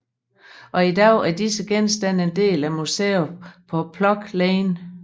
Og i dag er disse genstande en del af museeet på Plough Lane